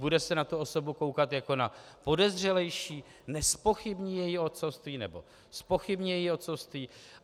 Bude se na tu osobu koukat jako na podezřelejší, nezpochybní její otcovství, nebo zpochybní její otcovství?